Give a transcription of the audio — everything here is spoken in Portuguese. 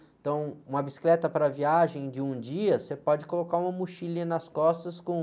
Então, uma bicicleta para viagem de um dia, você pode colocar uma mochilinha nas costas com...